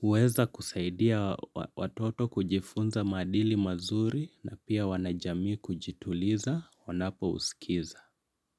huweza kusaidia watoto kujifunza maadili mazuri na pia wanajamii kujituliza wanapo usikiza.